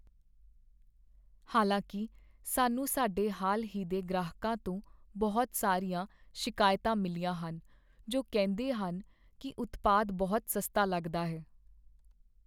ਹਾਲਾਂਕਿ, ਸਾਨੂੰ ਸਾਡੇ ਹਾਲ ਹੀ ਦੇ ਗ੍ਰਾਹਕਾਂ ਤੋਂ ਬਹੁਤ ਸਾਰੀਆਂ ਸ਼ਿਕਾਇਤਾਂ ਮਿਲੀਆਂ ਹਨ ਜੋ ਕਹਿੰਦੇ ਹਨ ਕੀ ਉਤਪਾਦ ਬਹੁਤ ਸਸਤਾ ਲੱਗਦਾ ਹੈ।